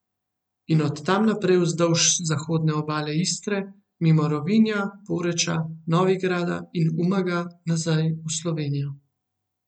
In od tam naprej vzdolž zahodne obale Istre, mimo Rovinja, Poreča, Novigrada in Umaga nazaj v Slovenijo.